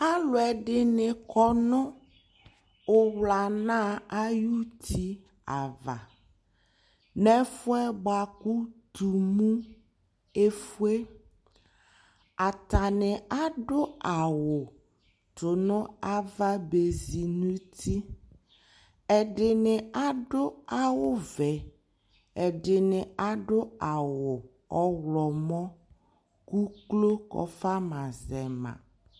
Alʋ ɛdini kɔnʋ ʋwlana ayʋti ava n'ɛfʋɛ bua kʋ tumu efue Atani adʋ awʋ tʋnʋ ava bezi n'uti Ɛdini adʋ awʋ vɛ, ɛdini adʋ awʋ ɔɣlɔmɔ k'uklo kɔfama zɛ ma